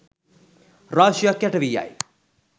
රාශියක් යට වී යයි.